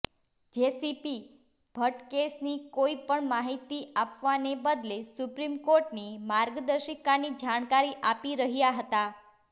JCP Bhatt કેસની કોઈ પણ માહિતી આપવાને બદલે સુપ્રીમ કોર્ટની માર્ગદર્શિકાની જાણકારી આપી રહ્યા હતા